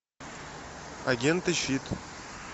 агенты щит